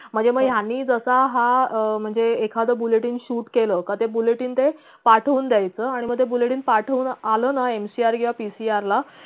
मधे मग यांनी जसा हा अं म्हणजे एखाद buletin shoot केल का ते buletin ते पाठवून देयचा आणि मग ते buletin पाठवून आलं ना mcr किंवा pcr ला